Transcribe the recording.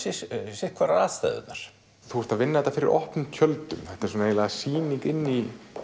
sitt hvorar aðstæðurnar þú vinnur þetta fyrir opnum tjöldum eins konar sýning inni í